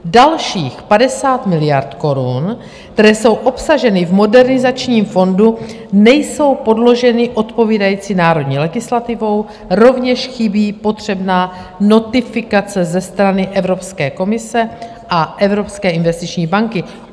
Dalších 50 miliard korun, které jsou obsaženy v Modernizačním fondu, není podloženo odpovídající národní legislativou, rovněž chybí potřebná notifikace ze strany Evropské komise a Evropské investiční banky.